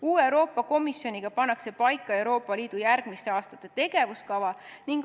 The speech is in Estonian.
Uue Euroopa Komisjoniga pannakse paika Euroopa Liidu järgmiste aastate tegevuskava.